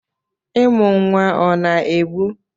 ịmụ nwa ọ na-egbu?